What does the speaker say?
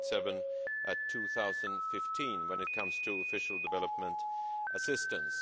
0.7 in 2015 when it comes to official development assistance.